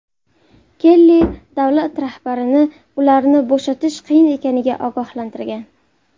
Kelli davlat rahbarini ularni bo‘shatish qiyin ekanidan ogohlantirgan.